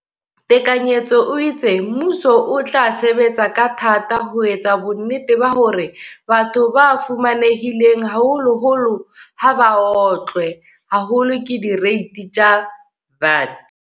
Tekanyetso o itse, mmuso o tla sebetsa ka thata ho etsa bonnete ba hore batho ba fumanehileng haholoholo ha ba otlwe haholo ke direiti tsa VAT.